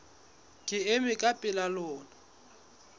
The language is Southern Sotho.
ke ema ka pela lona